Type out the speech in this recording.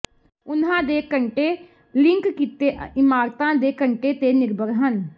ਉਨ੍ਹਾਂ ਦੇ ਘੰਟੇ ਲਿੰਕ ਕੀਤੇ ਇਮਾਰਤਾਂ ਦੇ ਘੰਟੇ ਤੇ ਨਿਰਭਰ ਹਨ